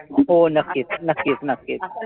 हो नक्कीच नक्कीच नक्कीच.